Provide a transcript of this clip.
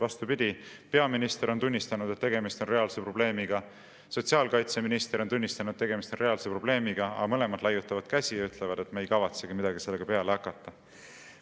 Vastupidi, peaminister on tunnistanud, et tegemist on reaalse probleemiga, sotsiaalkaitseminister on tunnistanud, et tegemist on reaalse probleemiga, aga mõlemad laiutavad käsi ja ütlevad, et nad ei kavatsegi midagi sellega peale hakata.